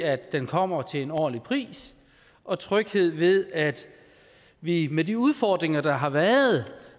at den kommer til en ordentlig pris og tryghed ved at vi med de udfordringer der har været